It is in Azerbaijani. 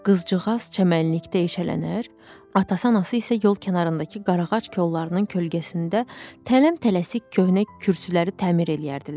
Qızcığaz çəmənlikdə eşələnər, atası anası isə yol kənarındakı qarağac kollarının kölgəsində tələm-tələsik köhnə kürsüləri təmir eləyərdilər.